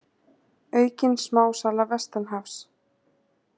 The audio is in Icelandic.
Aukin smásala vestanhafs